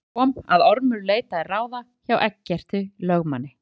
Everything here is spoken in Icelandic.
Þar kom að Ormur leitaði ráða hjá Eggerti lögmanni